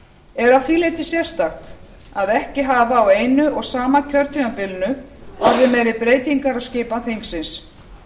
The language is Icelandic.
er að því leyti sérstakt að ekki hafa á einu og sama kjörtímabilinu orðið meiri breytingar á skipan þingsins